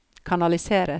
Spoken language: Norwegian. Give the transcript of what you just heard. kanaliseres